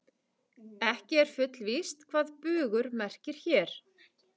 Ekki er fullvíst hvað bugur merkir hér.